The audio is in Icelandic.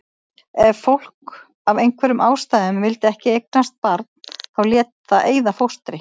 Ef fólk af einhverjum ástæðum vildi ekki eignast barn þá lét það eyða fóstri.